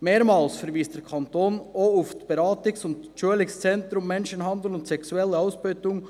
Mehrmals verweist der Kanton auch auf das Beratungs- und Schulungszentrum Menschenhandel und sexuelle Ausbeutung